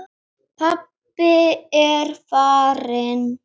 Pabbi er farinn.